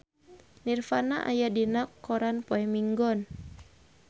Nirvana aya dina koran poe Minggon